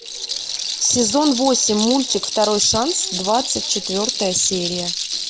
сезон восемь мультик второй шанс двадцать четвертая серия